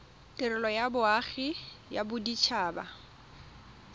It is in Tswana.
tirelo ya loago ya bodit